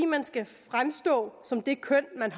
man skal fremstå som det køn man